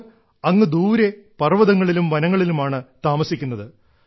അവർ അങ്ങ് ദൂരെ പർവ്വതങ്ങളിലും വനങ്ങളിലുമാണ് താമസിക്കുന്നത്